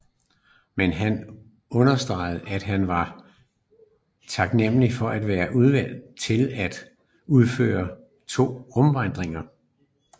Men han understregede at han var taknemmelig for at være udvalgt til at udføre to rumvandringer